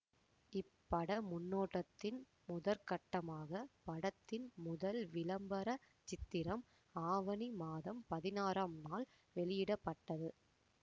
இப்பட முன்னோட்டத்தின் முதற்கட்டமாக படத்தின் முதல் விளம்பர சித்திரம் ஆவணி மாதம் பதினாறாம் நாள் வெளியிட பட்டது